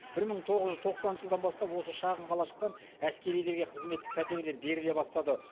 бір мың тоғыз жүз тоқсаныншы жылдан бастап осы шағын қалашықтан әскерилерге қызметтік пәтерлер беріле бастады